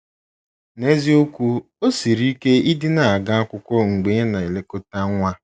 N’eziokwu, o siri ike ịdị na - aga akwụkwọ mgbe ị na - elekọta nwa.